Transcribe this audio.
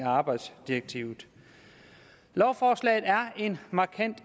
arbejdsdirektivet lovforslaget er en markant